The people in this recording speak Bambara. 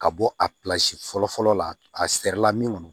Ka bɔ a fɔlɔ fɔlɔ la a sɛrila min kɔni